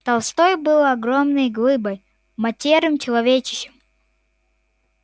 толстой был огромной глыбой матерым человечищем